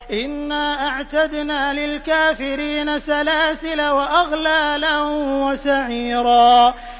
إِنَّا أَعْتَدْنَا لِلْكَافِرِينَ سَلَاسِلَ وَأَغْلَالًا وَسَعِيرًا